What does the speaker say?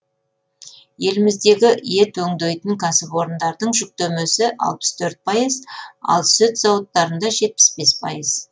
еліміздегі ет өңдейтін кәсіпорындардың жүктемесі алпыс төрт пайыз ал сүт зауыттарында жетпіс бес пайыз